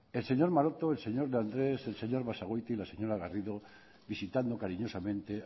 el señor maroto el señor de andres el señor basagoiti la señora garrido visitando cariñosamente